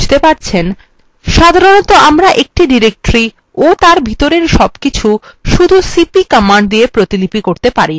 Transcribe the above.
সাধারণত আমরা একটি directory ও তার ভিতরের সবকিছু শুধু cp command দিয়ে প্রতিলিপি করতে পারি না